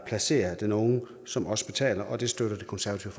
placerer den unge som også betaler og det støtter det konservative